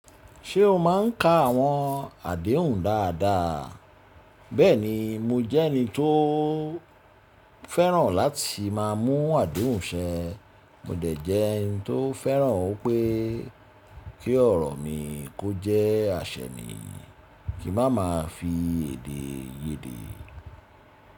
Ṣé o máa ń ka àwọn àdéhùn dáadáa? Bẹ́ẹ̀ni, mo jẹ́ ẹni tó fẹ́ràn láti má a mú àdéhùn ṣẹ. Mo dẹ̀ jẹ́ ẹni tó fẹ́ràn ó pé kí ọ̀rọ̀ mi kó jẹ́ àṣẹ mi, kí má ma fi èdè ye dé.